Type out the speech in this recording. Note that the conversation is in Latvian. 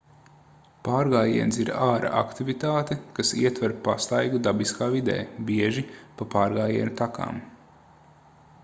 pārgājiens ir āra aktivitāte kas ietver pastaigu dabiskā vidē bieži pa pārgājienu takām